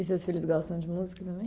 E seus filhos gostam de música também?